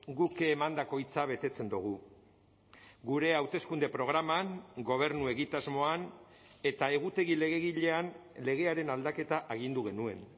guk emandako hitza betetzen dugu gure hauteskunde programan gobernu egitasmoan eta egutegi legegilean legearen aldaketa agindu genuen